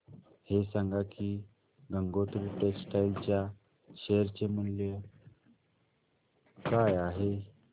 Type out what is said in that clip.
हे सांगा की गंगोत्री टेक्स्टाइल च्या शेअर चे मूल्य काय आहे